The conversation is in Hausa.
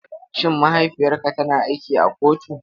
Shin mahaifiyarka tana aiki a kotu?